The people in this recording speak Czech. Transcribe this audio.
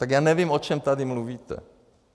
Tak já nevím, o čem tady mluvíte.